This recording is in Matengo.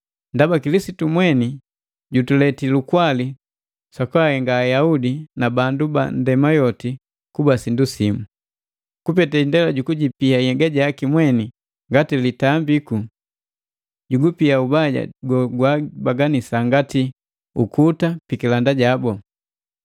Ndaba Kilisitu mweni jutuletii lukwali sukuhenga Ayaudi na bandu banndema yoti kuba sindu simu. Kupete indela jukujipia yega jaki mweni ngati litambiku, jugupia ubaja gogwabaganisa ngati ukuta pikilanda jabu.